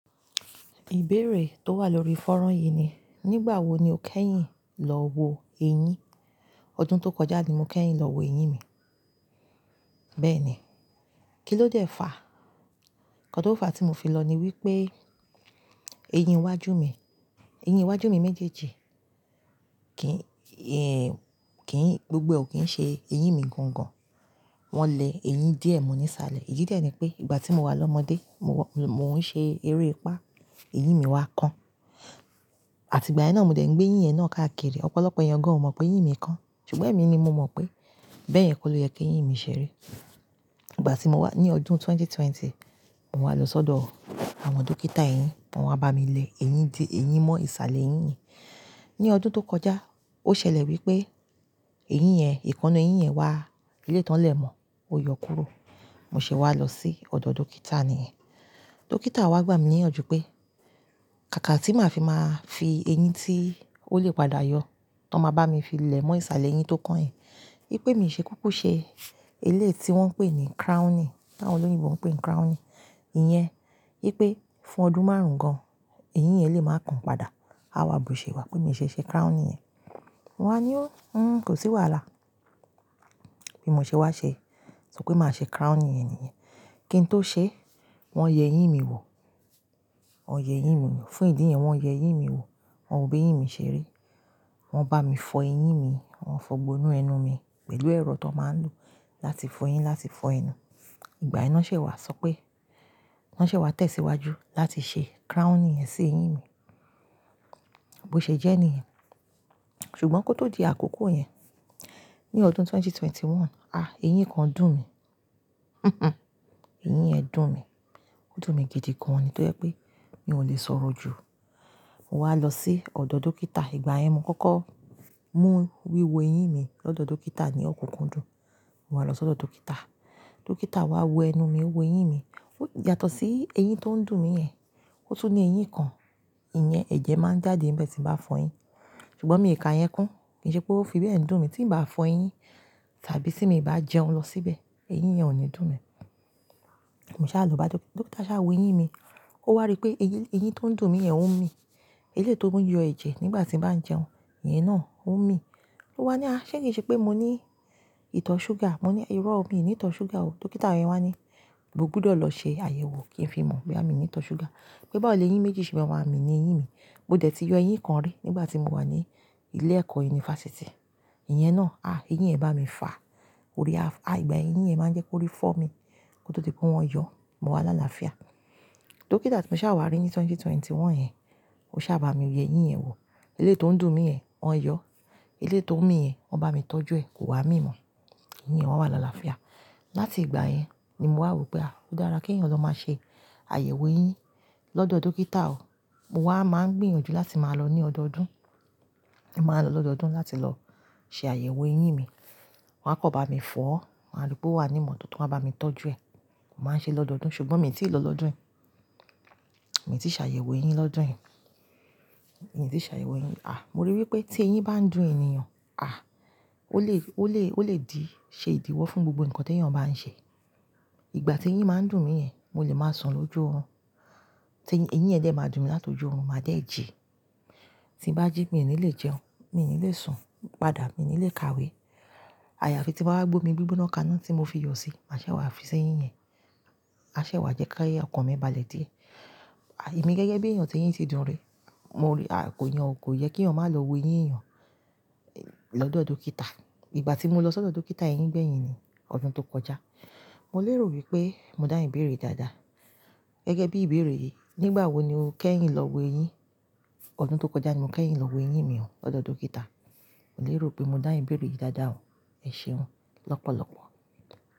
Ìbéèrè tó wà lórí fọ́rán yìí ni, nígbà wo ni o kẹ́yìn lọ wo eyín? Ọdún tó kọjá ni mo kẹ́yìn lọ wo eyín mi. Bẹ́ẹ̀ni. Kí ló dẹ́ fa? Ǹkan tó fa tí mo fi lọ ni wí pé, eyín iwájú mi, eyín iwájú mi méjèèjì kì ń, ẹ́, kì í, gbogbo ọ̀ kí ń ṣe eyín mi gangan. Wọ́n lẹ eyín díẹ̀ mọ́ ní ìsàlẹ̀. Èyí dẹ̀ ni pé, ìgbà tí mo wà lọ́mọdé, mo wá, mò ń ṣe eré ìpá, eyín mi wá kán. Àti ìgbà yẹn náà mo dẹ̀ ń gbé eyín yẹn náà káàkiri. Ọ̀pọ̀lọpọ̀ èèyàn gan ò mọ̀ pé eyín mi kán, ṣùgbọ́n èmi ni mo mọ̀ pé. Bẹ́ẹ̀ yẹn kó le yẹ kí eyín mi ṣeri. Ìgbà tí mo wá ní ọdún ẹgbẹ̀rún méjì ó lé ogún, mo wá lọ sọ́dọ̀ àwọn dókítà eyín, wọ́n wá bá mi lẹ eyín dí, eyín mọ́ ìsàlẹ̀ eyín yìen. Ní ọdún tó kọjá, ó ṣẹlẹ̀ wí pé eyín yẹn, ìkanu eyín yẹn wá, eléyii tán lè mọ́, ó yọ kúrò. Mo sì wá lọ sí ọ̀dọ̀ dókítà nìyẹn. Dókítà wá gbà mí níyànjú pé, kàkà tí màá fi máa fi eyín tí ó lè padà yọ, tọ́n máa bá mi fi lẹ mọ́ ìsàlẹ̀ eyín tó kán yen. Wípé mi ṣe kúkú ṣe eléyi tí wọ́n ń pè ní crowning, t'àwọn olóyìnbo ń pè crowning. Ìyẹn wípé fún ọdún márùn-ún gan, eyín yẹn lè máa kan padà. A wá bu ṣe wá pé mi ṣe ṣe crowning yẹn. Mo wá ní ó, "n-n-n kò sí wàhálà." Bí mo ṣe wá ṣe, sọ pé màá ṣe crowning yẹn nìyẹn. Kí n tó ṣe wọ́n yẹ eyín mi wò. Wọ́n yẹ eyín mi wo. Fún ìdí yẹn wọ́n yẹ eyín mi wò, wọn wò b'eyín mi ṣeri. Wọn bá mi fọ eyín mi, wọ́n fọ gbó inu ẹnu mi pẹ̀lú ẹ̀rọ tó máa ń lò láti fọ eyín, láti fọ ẹnu. Ìgbà yẹn na ṣé wà sọ pé, wọ́n ṣé wà tẹ̀síwájú láti ṣe crowning yẹn sí eyín mi. Bo ṣẹ̀ jẹ́ níyẹn. Ṣùgbọ́n kó tó di àkókò yẹn, ní ọdún ẹgbẹ̀rún méjì ó lé mọ́kànlélógún, à eyín kan dùn mí. Eyín yẹn dùn mí. Ó dùn mi gidi gan-an, ní tó jẹ́ pé mi ò lè sọ̀rọ̀ jù. Mo wá lọ sí ọ̀dọ̀ dókítà. Ìgbà yẹn mo kọ́kọ́ mú wíwo eyín mi lọ́dọ̀ dókítà ní ọ̀kúnkúndùn. Mo wá lọ sọ́dọ̀ dókítà. Dókítà wá wo ẹnu mi, wo eyín mi. Yàtọ̀ sí eyín tó ń dùn mí yẹn. Ó tún ní eyín kan, ìyẹn ẹ̀jẹ̀ máa ń jáde nbe tí m bá fọ eyín. Ṣùgbọ́n mi ò ka yẹn kún. Kì i ṣe pé ó fi bẹ́ẹ̀ dùn mí tí n bá fọ eyín tàbí tí mi bá jẹun lọ síbẹ̀, eyín yẹn ò ní dùn mí. Mo sá lọ bá dókítà. Dókítà sá wo eyín mi. Ó wàrí pé eyín, eyín tó ń dùn mí yẹn òún mi. Eléeyi tó ń yọ ẹ̀jẹ̀ nígbà tí m bá ń jẹun, iyẹn naa ò n mi. Ó wá ní, "a ṣé kì í ṣe pé mo ní ìtọ̀ súgà?" Mo ní, "ìró, ò mi ní ìtọ̀ súgà o." Dókítà yẹ́n wá ní, "mo gbọdọ̀ lọ ṣe àyẹ̀wò kí n fi mọ̀ boya mi ní ìtọ̀ súgà." Pé báwò leyín méjì ṣe ma ma leyín mi. Mo dẹ̀ ti yọ eyín kan rí nígbà tí mo wà ní ilé ẹ̀kọ́ yunifásítì. Ìyẹn náà, à eyín yẹn bá mi fà. Orí a-- à ìgbà yẹn eyin yen máa ń jẹ́ kó rí fọ́ mi kó tó ti pé wọ́n yọ. Mo wá láalaafíà. Dókítà tí mo sá wá rí ní 2021 yẹn, ó sá bá mi yẹ eyín yẹn wò. Eléétí tó ń dùn mí yẹn, wọ́n yọ. Elééyi tó ń mì yẹn, wọ́n bá mi tọ́jú ẹ̀, kò wá mí mọ̀. Ìyẹn wá wá làlàáfíà. Láti ìgbà yẹn ni mo wá rò pé, à ó dára kí èèyàn lọ máa ṣe àyẹ̀wò eyín lọ́dọ̀ dókítà o. Mo wá máa ń gbìyànjú láti máa lọ ní ọdọọdún. Mo máa lọ lọ́dọọdún láti lọ ṣe àyẹ̀wò eyín mi. Wọn á kọ̀n bá mi fọ̀. Won a rí pé wà á nímọ̀tóto wọ́n a bá mi tọ́jú ẹ̀. Mo máa ń ṣe lọ́dọọdún. Ṣùgbọ́n mi ò tí ì lọ lọ́dún yìí. Mi tì ṣààyèwò eyín lọ́dún yìí. Mi tì ṣààyèwò eyín. À mo rí wí pé tí eyín bá ń dùn ènìyàn, à ó lè, ó lè, ó lè di, ṣe ìdíwọ́ fún gbogbo nǹkan tí èèyàn bá ń ṣe. Ìgbà tí eyín máa ń dùn mí yẹn, mo lè máa sùn lójú irun. Tí eyín yẹn dẹ̀ máa dùn mi látọjú irun, màá dẹ̀ jí. Tí n bá jí mi ò ní lè jẹun, mi ò ní lè sùn, padà mi ò ní lè kàwé. Àyàfi tí bàwá gbé omi gbígbóná kaná tí mo fi yọ sí, màṣé wá fi ṣẹ́ eyín yẹn. A ṣé wá jẹ́ ki ọkàn mi bá lè dié. À èmi gẹ́gẹ́ bí èèyàn tí eyín ti dùn rí, mo rí à kò yẹn kò yẹ kí èèyàn máa lọ wo eyín èèyàn lọ́dọ̀ dókítà. Ìgbà tí mo lọ sọ́dọ̀ dókítà eyín gbẹ̀yìn ni, ọdún tó kọjá, mo lè rò wí pé mo dá ìbéèrè dáadáa. Gẹ́gẹ́ bí ìbéèrè yìí, nígbà wo ni o kẹ́yìn lọ wo eyín? Ọdún tó kọjá ni mo kẹ́yìn lọ wo eyín mi o lọ́dọ̀ dókítà. Mo lè rò pé mo dá ìbéèrè yìí dáadáa o. Ẹ ṣéun lọ́pọ̀lọ́pọ̀.